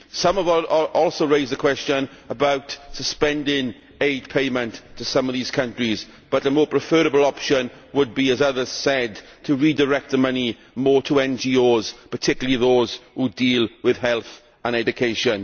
Someone also raised the question of suspending aid payments to some of these countries, but a more preferable option would be as others said to redirect money more towards NGOs, particularly those which deal with health and education.